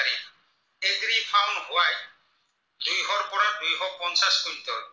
পৰা দুইশ পঞ্চাছ কুইন্টল